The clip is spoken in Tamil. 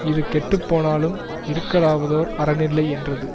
இது கெட்டுப்போனாலும் இருக்கலாவதோர் அரணில்லை யென்றது